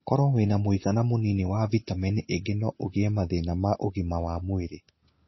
Koro wĩna mũigana mũnini wa vĩtaminĩ ingĩ no ũgĩe mathĩna ma ũgima wa mwĩrĩ.